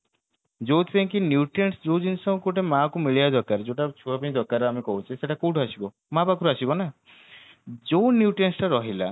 ଯୋଉଥି ପାଇଁ କି nutrients ଯୋଉ ଜିନିଷ ଗୋଟେ ମା କୁ ମିଳିବା ଦରକାର ଯୋଉଟା ଛୁଆପାଇଁ ଦରକାର ଆମେ କହୁଛେ ସେଇଟା କୋଉଠୁ ଆସିବ ମା ପାଖରୁ ଆସିବ ନା ଯୋଉ nutrients ଟା ରହିଲା